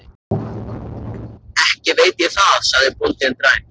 Ekki veit ég það, sagði bóndinn dræmt.